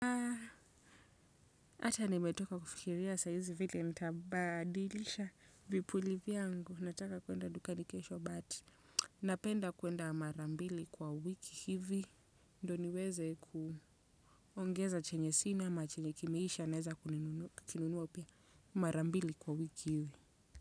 Ata nimetoka kufikiria sayizi vile nitabadilisha vipuli viangu, nataka kuenda dukani kesho bati, napenda kuenda marambili kwa wiki hivi, ndo ni weze kuongeza chenye sina ama chenye kimeisha naeza kununua upia marambili kwa wiki hivi.